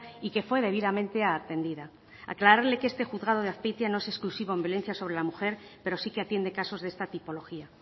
y que fue debidamente atendida aclararle que este juzgado de azpeitia no es exclusivo en violencia sobre la mujer pero sí que atiende casos de esta tipología